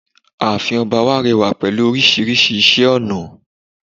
ààfin ọba wá rẹwà pẹ̀lú orísirísi iṣẹ ọnà